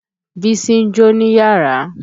Bísí ń jó níyàrá.